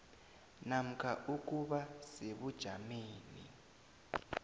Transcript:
namkha ukuba sebujameni